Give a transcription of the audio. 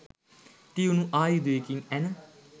තියුණු ආයුධයකින් ඇන